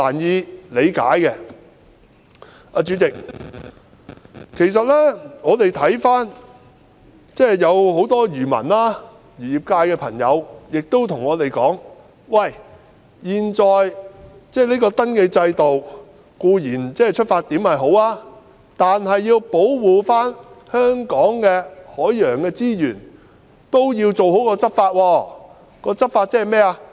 代理主席，很多漁民和漁業界人士對我們說，現時登記制度的出發點固然好，但要保護香港的海洋資源便同時要做好執法。